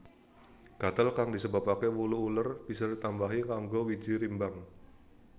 Gatel kang disebabaké wulu uler bisa ditambani nganggo wiji rimbang